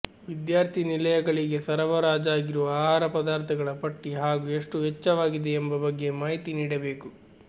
ವಿದ್ಯಾರ್ಥಿನಿಲಯಗಳಿಗೆ ಸರಬರಾಜಾಗಿರುವ ಆಹಾರ ಪದಾರ್ಥಗಳ ಪಟ್ಟಿ ಹಾಗೂ ಎಷ್ಟು ವೆಚ್ಚವಾಗಿದೆ ಎಂಬ ಬಗ್ಗೆ ಮಾಹಿತಿ ನೀಡಬೇಕು